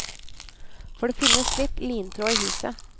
For det finnes litt lintråd i huset.